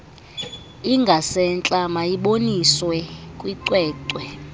ingasentla mayiboniswe kwicwecwe